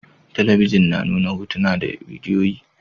Talabijin na nuna hotuna da bidiyoyi